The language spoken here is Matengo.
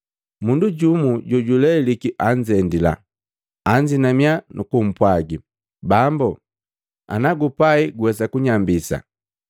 Mundu jumu jojuleliki anzendila, anzinamia nukupwaga, “Bambu, ana gupai guwesa kunyambisa.”